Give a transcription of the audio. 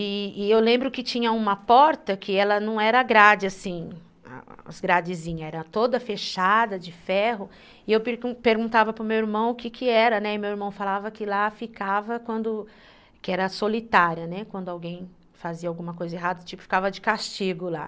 E eu lembro que tinha uma porta que ela não era grade, assim, as gradezinhas, era toda fechada de ferro, e eu perguntava para o meu irmão o que que era, né, e meu irmão falava que lá ficava quando, que era solitária, né, quando alguém fazia alguma coisa errada, tipo, ficava de castigo lá.